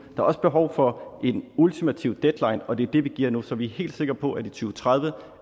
er også behov for en ultimativ deadline og det er det vi giver nu så vi er helt sikre på at i to tredive